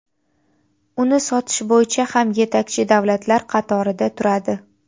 uni sotish bo‘yicha ham yetakchi davlatlar qatorida turadi.